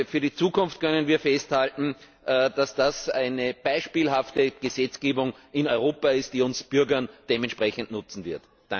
Für die Zukunft können wir festhalten, dass das eine beispielhafte Gesetzgebung in Europa ist, die uns Bürgern dementsprechend nutzen wird.